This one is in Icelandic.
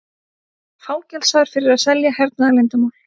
Fangelsaður fyrir að selja hernaðarleyndarmál